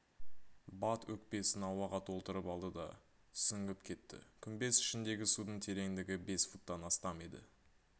бат өкпесін ауаға толтырып алды да сүңгіп кетті күмбез ішіндегі судың тереңдігі бес футтан астам еді